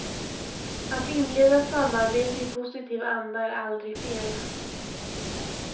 Att inleda samarbete i positiv anda är aldrig fel.